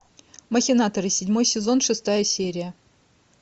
махинаторы седьмой сезон шестая серия